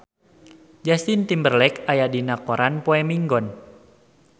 Justin Timberlake aya dina koran poe Minggon